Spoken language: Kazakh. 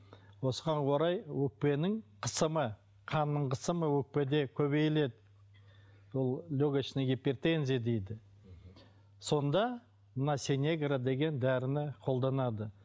осыған орай өкпенің қысымы қанның қысымы өкпеде көбейіледі сол легочная гипертензия дейді сонда мына синегра деген дәріні қолданады